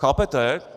Chápete?